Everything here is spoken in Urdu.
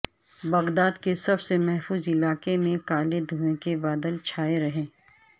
بغداد کے سب سے محفوظ علاقے میں کالے دھویں کے بادل چھائے رہے